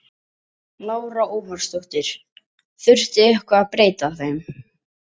Lára Ómarsdóttir: Þurfti eitthvað að breyta þeim?